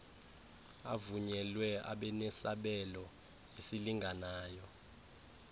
avunyelwe abenesabelo esilinganayo